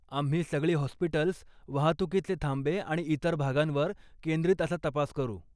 आम्ही सगळी हाॅस्पिटल्स, वाहतुकीचे थांबे आणि इतर भागांवर केंद्रित असा तपास करू.